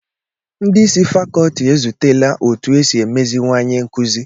Ndị isi fakọlti ezutela òtù esi emeziwanye nkụzi